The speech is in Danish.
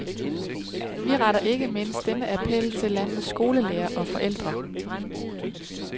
Vi retter ikke mindst denne appel til landets skolelærere og forældre.